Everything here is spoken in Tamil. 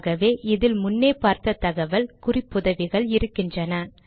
ஆகவே இதில் முன்னே பார்த்த தகவல் குறிப்புதவிகள் இருக்கின்றன